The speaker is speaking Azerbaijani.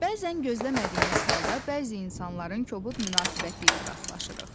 Bəzən gözləmədiyimiz halda bəzi insanların kobud münasibəti ilə rastlaşırıq.